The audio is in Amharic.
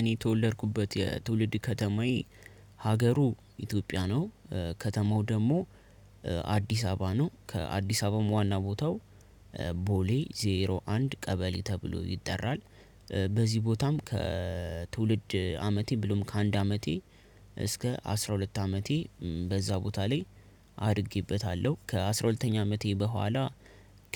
እኔ የተወለድኩበት የትውልድ ከተማዬ ሀገሩ ኢትዮጵያ ነው ከተማው ደግሞ አዲስ አበባ ነው። ከአዲስ አበባም ዋና ቦታው ቦሌ ዜሮ አንድ ቀበሌ ተብሎ ይጠራል። በዚህ ቦታም ከትውልድ አመቴ ብሎም ከአንድ አመቴ እስከ አስራ ሁለት አመቴ በዛ ቦታ ላይ አድጌበታለሁ። ከአስራ ሁለተኛ አመቴ በኋላ